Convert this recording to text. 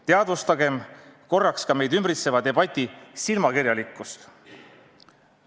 Teadvustagem korraks ka meid ümbritseva debati silmakirjalikkust.